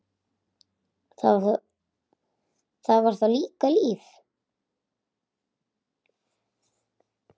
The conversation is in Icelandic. Það var þá líka líf!